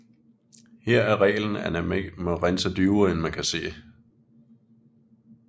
Her er reglen at man ikke må rense dybere end man kan se